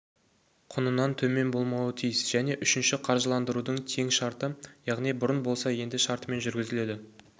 құнынан төмен болмауы тиіс және үшіншісі қаржыландырудың тең шарты яғни бұрын болса енді шартымен жүргізіледі